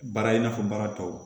Baara in n'a fɔ baara tɔw